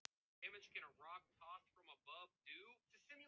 Bjössi veifar glaðlega til þeirra með hamrinum.